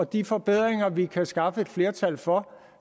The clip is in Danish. de forbedringer vi kan skaffe et flertal for